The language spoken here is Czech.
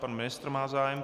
Pan ministr má zájem.